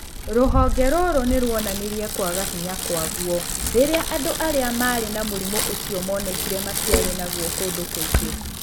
Rũhonge rũrũ nĩ rwoonanirie kwaga hinya kwaguo rĩrĩa andũ arĩa maarĩ na mũrimũ ũcio monekire matiarĩ naguo kũndũ kũngĩ.